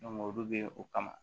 olu be o kama